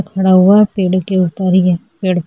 खड़ा हुआ है पेड़ के ऊपर ये पेड़ --